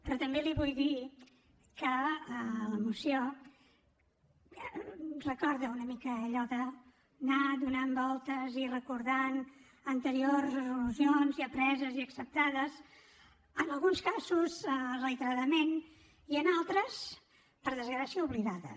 però també li vull dir que la moció recorda una mica allò d’anar fent voltes i recordant anteriors resolucions ja preses i acceptades en alguns casos reiteradament i en altres per desgràcia oblidades